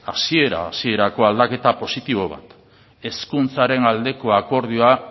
hasiera hasierako aldaketa positibo bat hezkuntzaren aldeko akordioa